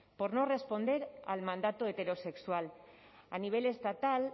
por no responder al mandato heterosexual a nivel estatal